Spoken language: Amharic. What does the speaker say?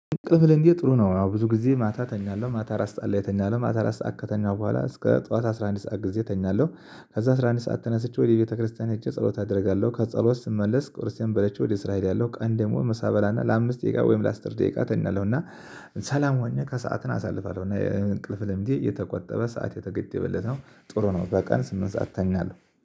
ቅልብ ልንገርህ ጥሩ ነው አዎ ብዙ ጊዜ ማታ ተኛለሁ ማታ አራት ሰዓት ላይ እተኛለሁ ማታ አራት ሰዓት ከተኛሁ በኋላ እስከ ጠዋት አስራ አንድ ሰዓት ጊዜ እተኛለሁ። ከዛ አስራ አንድ ሰዓት ተነስቼ ወደ ቤተክርስቲያን ሂጀ ጸሎት አደርጋለሁ ከጸሎት ስመለስ ክርስቲያን በለች ወደ እስራኤል ያለው ቀን ደግሞ መሳበላና ለአምስት ደቂቃ ወይም ለአስር ደቂቃ ተናለው እና ሰላም ሆኜ ከሰአትን አሳልፋለሁ እና እንቅልፍ ልምዴ የተቆጠበ ሰዓት የተገደበለት ነው። ጥሩ ነው በቃ ስምንት ሰዓት እተኛለሁ